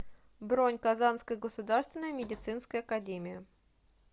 бронь казанская государственная медицинская академия